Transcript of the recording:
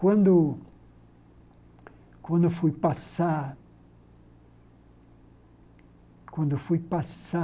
Quando quando eu fui passar... Quando eu fui passar...